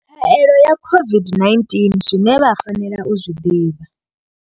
Khaelo ya COVID-19 zwine vha fanela u zwi ḓivha.